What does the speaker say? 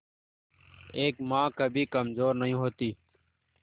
एक मां कभी कमजोर नहीं होती